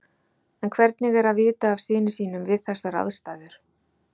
En hvernig er að vita af syni sínum við þessar aðstæður?